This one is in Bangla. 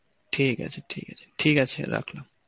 ঠিক আছে ঠিক আছে, ঠিক আছে রাখলাম.